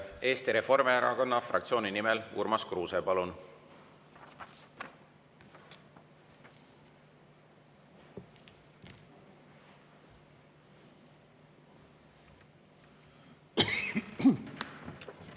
Eesti Reformierakonna fraktsiooni nimel Urmas Kruuse, palun!